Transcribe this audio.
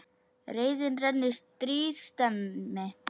Reiðin renni, stríð stemmi.